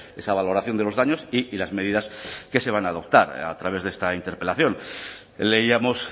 esa valoración de los daños y las medidas que se van a adoptar a través de esta interpelación leíamos